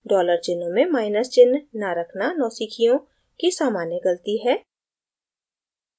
dollars चिन्हों में minus चिन्ह न रखना नौसिखियों की सामान्य गलती है